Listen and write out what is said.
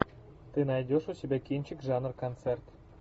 ты найдешь у себя кинчик жанр концерт